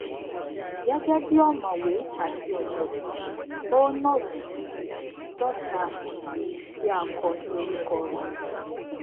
gẹgẹ bi ọmọwé àti ọjọgbọn ó not jù àádọta ìwé tí a kọ ní orúkọ rẹ